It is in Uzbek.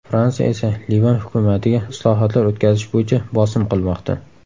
Fransiya esa Livan hukumatiga islohotlar o‘tkazish bo‘yicha bosim qilmoqda.